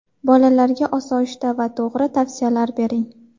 Bolalarga osoyishta va to‘g‘ri tavsiyalar bering.